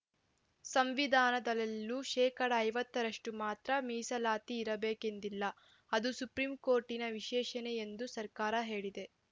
ಸಂವಿಧಾನದಲ್ಲೆಲ್ಲೂ ಶೇಕಡಾ ಐವತ್ತ ರಷ್ಟು ಮಾತ್ರ ಮೀಸಲಾತಿ ಇರಬೇಕೆಂದಿಲ್ಲ ಅದು ಸುಪ್ರೀಂಕೋರ್ಟಿನ ವಿಶ್ಲೇಷಣೆ ಎಂದೂ ಸರ್ಕಾರ ಹೇಳಿದೆ